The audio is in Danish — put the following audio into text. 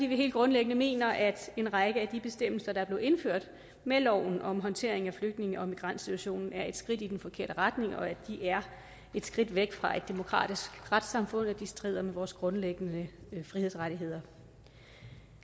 vi helt grundlæggende mener at en række af de bestemmelser der blev indført med loven om håndtering af flygtninge og migrantsituationen er et skridt i den forkerte retning at de er et skridt væk fra et demokratisk retssamfund og at de strider mod vores grundlæggende frihedsrettigheder